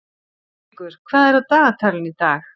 Ástríkur, hvað er á dagatalinu í dag?